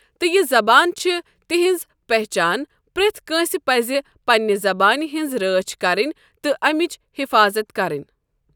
تہٕ یہِ زبان چھِ تہنٛز پہچان پرٮ۪تھ کٲنٛسہِ پزِ پننہِ زبانہِ ہٕنٛز رٲچھ کرٕنۍ تہٕ امیِچ حفاظت کرٕنۍ۔